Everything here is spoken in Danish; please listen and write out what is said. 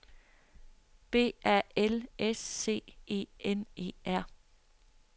B A L S C E N E R